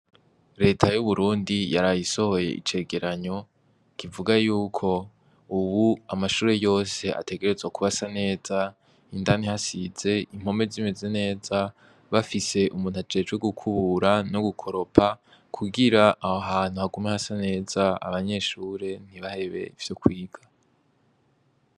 L'eta y'uburundi yaraye isohoye icegeranyo kivuga yuko ubu amashure yose ategerezwa kuba asa neza indani hasize impome zimeze neza bafise umuntu ajejwe gukubura no gukoropa kugira aho hantu hagume hasa neza abanyeshure ntibahebe ivyo kwiga.